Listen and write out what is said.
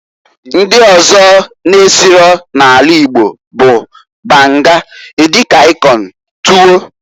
Ndi ọzọ n'esiro n'ana Igbo bụ, banga, edi kan ikong, tuwo.